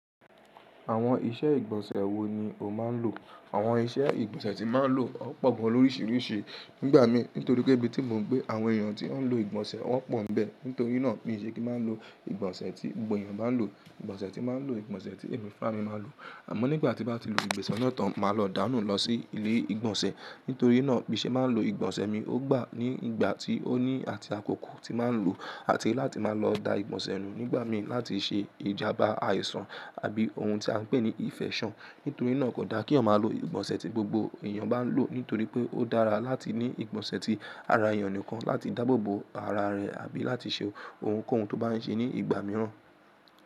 Àwọn iṣẹ́ ìgbọ̀nsẹ̀ wo ni o máa ń lò? Àwọn iṣẹ́ ìgbọ̀nsẹ̀ tí mo máa ń lò ó pọ̀ gan loríṣiríṣi nígbà mi. Nítorí pé ibi tí mò ń gbé àwọn èèyàn tí wọ́n ń lo ìgbọ̀nsẹ̀ wọ́n pọ̀ń bẹ́ẹ̀. Nítorí náà kì í ṣe kí má lo ìgbọ̀nsẹ̀ tí gbogbo èèyàn bá ń lò. Ìgbọ̀nsẹ̀ tí màá ń lò, ìgbọ̀nsẹ̀ tí èmi fún àmi máa ń lò. Àmọ́ nígbà tí bá ti lo ìgbọ̀nsẹ̀ ọ̀nà tán, màá lọ dáńnù lọ sí ilé ìgbọ̀nsẹ̀. Nítorí náà bí se máa ń lo ìgbọ̀nsẹ̀ mi, ó gbà nígbà tí ó ní àti àkókò tí màá ń lò, àti láti máa lọ da ìgbọ̀nsẹ̀ nù nígbà mi láti ṣe ìjàbà àìsàn àbí ohun tí a ń pè ní ìfẹ́sàn. Nítorí náà kò da kí èyàn mà lo ìgbonsè tí gbogbo èyàn bà lò nítorí pé ó dára láti ní ìgbọ̀nsẹ̀ tí ara èèyàn nìkan láti dáàbòbò ara rẹ̀ àbí láti ṣe ohunkóhun tó bá ń ṣe ní ìgbà mìíràn.